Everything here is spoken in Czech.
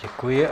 Děkuji.